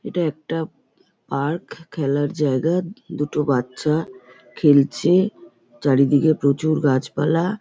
এটা একটা উ পার্ক । খেলার জায়গা। দুটো বাচ্ছা খেলছে চারিদিকে প্রচুর গাছপালা।